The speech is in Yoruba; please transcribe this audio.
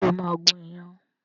Ṣé o máa gún iyán